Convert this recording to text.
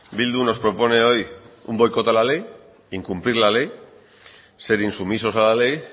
bildu nos propone hoy un boicot a la ley incumplir la ley ser insumisos a la ley